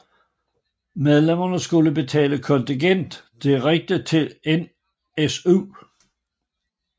Medlemmerne skulle betale kontingent direkte til NSU